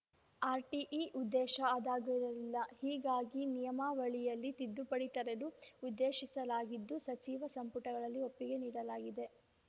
RTE ಉದ್ದೇಶ ಅದಾಗಿರಲಿಲ್ಲ ಹೀಗಾಗಿ ನಿಯಮಾವಳಿಯಲ್ಲಿ ತಿದ್ದುಪಡಿ ತರಲು ಉದ್ದೇಶಿಸಲಾಗಿದ್ದು ಸಚಿವ ಸಂಪುಟದಲ್ಲಿ ಒಪ್ಪಿಗೆ ನೀಡಲಾಗಿದೆ